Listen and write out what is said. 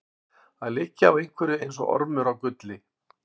Að liggja á einhverju eins og ormur á gulli